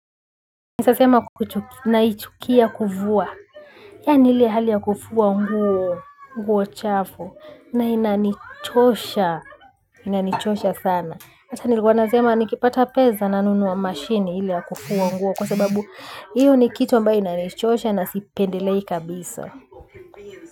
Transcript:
Naweza sema naichukia kufuwa. Yani ile hali ya kufuaa nguo nguo chafu na inanichosha. Inanichosha sana. Ata nilikuwa sema nikipata peza na nunua mashini ile ya kufua nguo kwasababu hiyo ni kitu ambayo inanichosha na sipendelei kabisa.